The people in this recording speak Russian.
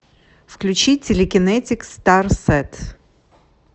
включи телекинетик старсет